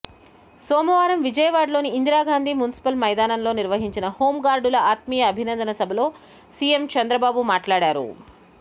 సోమవారం విజయవాడలోని ఇందిరాగాంధీ మున్సిపల్ మైదానంలో నిర్వహించిన హోంగార్డుల ఆత్మీయ అభినందన సభలో సీఎం చంద్రబాబు మాట్లాడారు